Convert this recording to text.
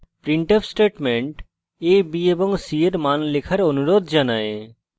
printf statement a b এবং c এর মান লেখার অনুরোধ জানায়